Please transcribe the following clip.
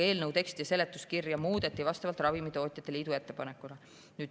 Eelnõu teksti ja seletuskirja muudeti vastavalt ravimitootjate liidu ettepanekule.